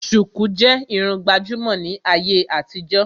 Sùkú jẹ́ Irun gbàjúmọ̀ ní ayé àtijó